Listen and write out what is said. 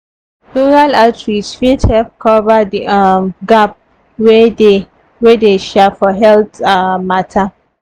rural outreach fit help cover the um gap wey dey wey dey um for health um matter.